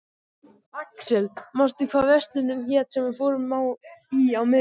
Axel, manstu hvað verslunin hét sem við fórum í á miðvikudaginn?